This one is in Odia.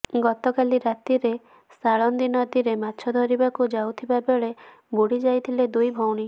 ଗତକାଲି ରାତିରେ ସାଳନ୍ଦୀ ନଦୀରେ ମାଛ ଧରିବାକୁ ଯାଇଥିବାବେଳେ ବୁଡିଯାଇଥିଲେ ଦୁଇ ଭଉଣୀ